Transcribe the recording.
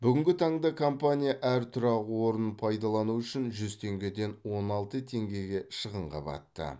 бүгінгі таңда компания әр тұрақ орнын пайдалану үшін жүз теңгеден он алты теңгеге шығынға батты